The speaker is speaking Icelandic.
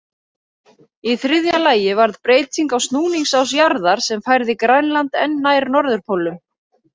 Í þriðja lagi varð breyting á snúningsás jarðar, sem færði Grænland enn nær norðurpólnum.